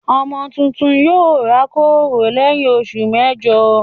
Ọmọ tuntun yóò rákòrò lẹ́yìn oṣù mẹ́jọ.